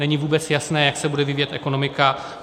Není vůbec jasné, jak se bude vyvíjet ekonomika.